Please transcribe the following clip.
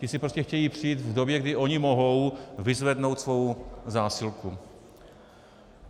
Ti si prostě chtějí přijít v době, kdy oni mohou, vyzvednout svou zásilku.